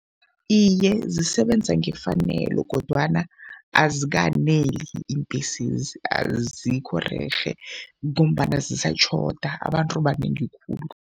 Iye, zisebenza ngefanelo kodwana azikaneli iimbhesezi. Azikho rerhe ngombana zisatjhoda, abantu banengi khulu.